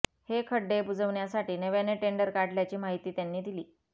हे खड्डे बुजवण्यासाठी नव्याने टेंडर काढल्याची माहिती त्यांनी दिली